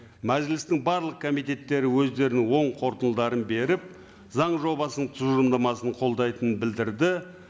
мәжілістің барлық комитеттері өздерінің оң қорытындыларын беріп заң жобасының тұжырымдамасын қолдайтынын білдірді